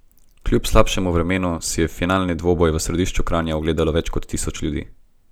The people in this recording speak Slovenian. Kljub slabšemu vremenu si je finalni dvoboj v središču Kranja ogledalo več kot tisoč ljudi.